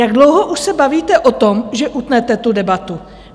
Jak dlouho už se bavíte o tom, že utnete tu debatu?